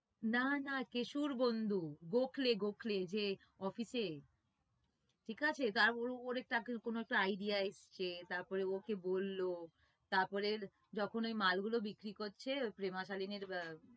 না না কেশুর বন্ধু গোখলে গোখলে যে office এ ঠিক আছে তারপর ওর একটা idea এসেছে ওই ওকে বললো তারপরে যখন ওই মালগুলো বিক্রি করছে প্রেমা শালিনীর